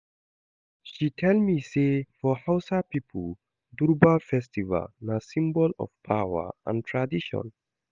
She tell me sey for Hausa pipo, durbar festival na symbol of power and tradition.